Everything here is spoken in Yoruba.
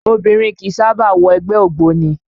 Obìnrin kìí sábà wọ ẹgbẹ́ ògbóni